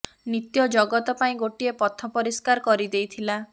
ନିତ୍ୟ ଜଗତ ପାଇଁ ଗୋଟିଏ ପଥ ପରିଷ୍କାର କରି ଦେଇଥିଲା